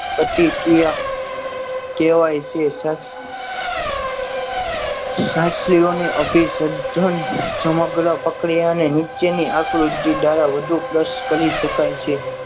પ્રતિક્રિયા કહેવાય છે શાસ્ત્રીઓને અભિસર્જિત ધન સમગ્ર પ્રક્રિયાને નીચેની આકૃતિ દ્વારા વધુ પ્લસ કરી શકાય છે.